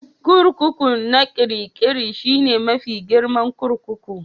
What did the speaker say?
Kurkuku na Kirikiri shine mafi girman kurkuku